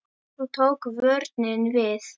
Svo tók vörnin við.